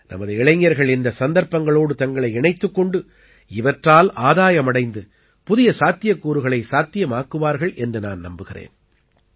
நமது இளைஞர்கள் இந்த சந்தர்ப்பங்களோடு தங்களை இணைத்துக் கொண்டு இவற்றால் ஆதாயமடைந்து புதிய சாத்தியக்கூறுகளை சாத்தியமாக்குவார்கள் என்று நான் நம்புகிறேன்